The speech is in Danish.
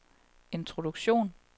introduktion